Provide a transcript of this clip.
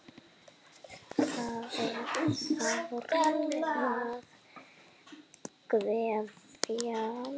Það er sárt að kveðja.